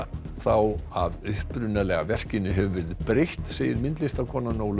þá að upprunalega verkinu hefur verið breytt segir myndlistarkonan Ólöf